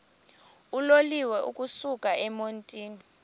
uloliwe ukusuk emontini